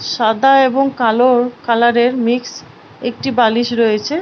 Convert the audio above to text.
সাদা এবং কালো কালারের মিক্স একটি বালিশ রয়েছে।